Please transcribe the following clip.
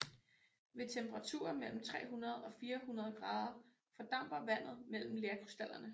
Ved temperaturer mellem 300 og 400 grader fordamper vandet mellem lerkrystallerne